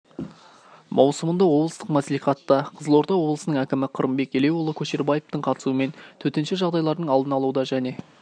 маусымында облыстық мәслихатта қызылорда облысының әкімі қырымбек елеуұлы көшербаевтың қатысуымен төтенше жағдайлардың алдын алуда және